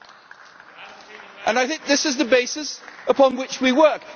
And this is the basis upon which we work.